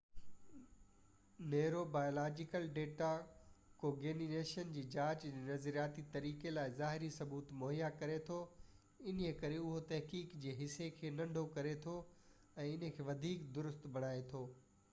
neuro biological data cognition جي جاچ جي نظرياتي طريقي لاءِ ظاهري ثبوت مهيا ڪري ٿو انهيءِ ڪري اهو تحقيق جي حصي کي ننڍو ڪري ٿو ۽ ان کي وڌيڪ درست بڻائي ٿو